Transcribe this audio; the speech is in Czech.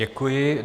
Děkuji.